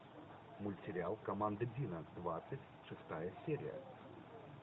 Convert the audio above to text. мультсериал команда дино двадцать шестая серия